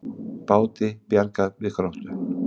Báti bjargað við Gróttu